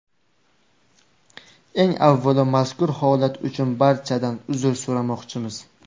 Eng avvalo mazkur holat uchun barchadan uzr so‘ramoqchimiz.